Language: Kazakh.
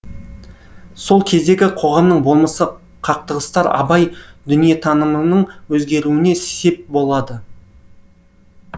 сол кездегі қоғамның болмысы қақтығыстар абай дүниетанымының өзгеруіне сеп болады